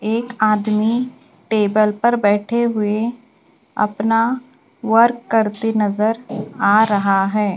एक आदमी टेबल पर बैठे हुए अपना वर्क करते नजर आ रहा है।